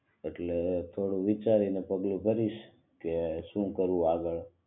એટલે થોડું વિચારીને પગલું ભરીશ કે શું કરવું આગળ